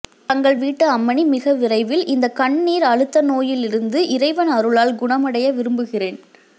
தங்கள் வீட்டு அம்மணி மிக விரைவில் இந்த கண் நீர் அழுத்த நோயில் இருந்து இறைவன் அருளால் குணமடைய விரும்புகிறேன்